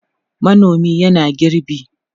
manomin yana girbi